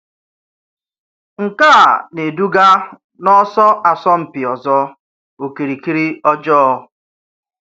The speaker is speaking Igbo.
Nkè a na-eduga n'ọsọ asọmpi ọzọ, okirikiri ọjọọ.